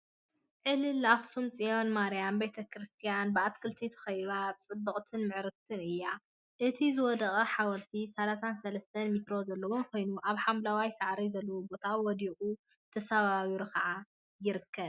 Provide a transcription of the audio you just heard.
ዕልልል አክሱም ፅዮን ማርያም ቤተ ክርስትያን ብአትክልቲ ተከቢባ ፅብቅትን ምዕርግቲን እያ፡፡ እቲ ዝወደቀ ሓወልቲ 33 ሜትሮ ዘለዎ ኮይኑ አብ ሓምለዋይ ሳዕሪ ዘለዎ ቦታ ወዲቁን ተሰባቢሩን ከዓ ይርከብ፡፡